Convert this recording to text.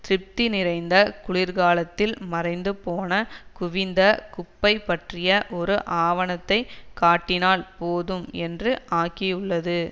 திருப்தி நிறைந்த குளிர்காலத்தில் மறைந்துபோன குவிந்த குப்பை பற்றிய ஒரு ஆவணத்தை காட்டினால் போதும் என்று ஆகியுள்ளது